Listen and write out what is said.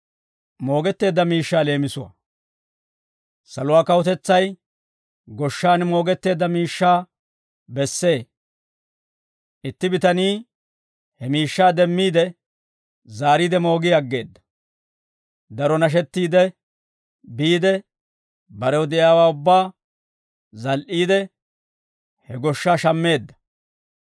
«Saluwaa kawutetsay goshshaan moogetteedda miishshaa bessee; itti bitanii he miishshaa demmiide, zaariide moogi aggeedda; daro nashettiidde biide, barew de'iyaawaa ubbaa zal"iide, he goshshaa shammeedda.